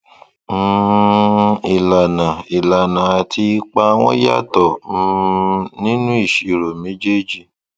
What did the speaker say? um ìlànà ìlànà àti ipa wọn yàtọ um nínú ìṣirò méjèèjì